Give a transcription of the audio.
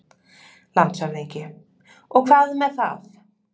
LANDSHÖFÐINGI: Og hvað með það?